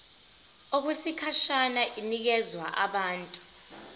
okwesikhashana inikezwa abantu